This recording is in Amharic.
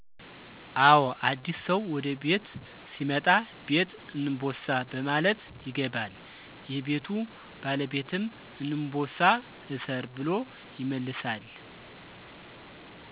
አዎ አዲስ ሰው ወደ ቤት ሲመጣ ''ቤት እንቦሳ '' በማለት ይገባል። የቤቱ ባለቤትም ''እንቦሳ እሰር '' ብሎ ይመልሳል